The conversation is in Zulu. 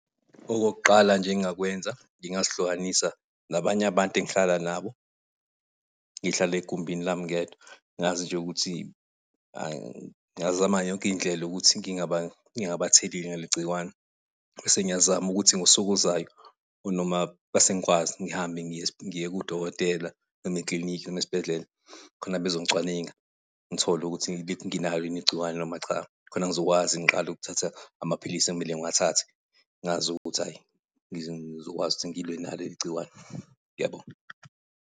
Okokuqala nje engingakwenza, ngingazihlukanisa nabanye abantu engihlala nabo. Ngihlale egumbini lami ngedwa, ngazi nje ukuthi ngazama ngayo yonke indlela ukuthi ngingabatheleli ngaleli gciwane. Bese ngiyazama ukuthi ngosuku ozayo noma bese ngikwazi ngihambe ngiye kudokotela, noma ekilinikhi, noma esibhedlela khona bezongicwaningwa. Ngithole ukuthi nginalo yini igciwane noma cha, khona ngizokwazi ngiqale ukuthatha amaphilisi ekumele ngiwathathe, ngaz'ukuthi ayi ngizokwazi ukuthi ngilwe nalo leligciwane. Ngiyabonga.